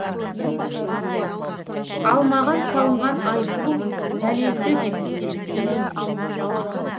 ал маған салынған айыппұл дәлелді деп есептемеймін